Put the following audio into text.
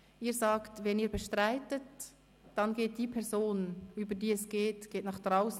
Sie sagen, wen Sie bestreiten, und somit geht die Person, um die es sich handelt, nach draussen.